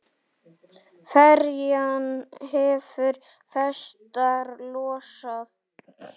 Ferjan hefur festar losað.